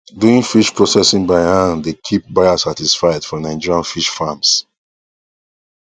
doing fish processing by hand dey keep buyers satisfied for nigerian fish farms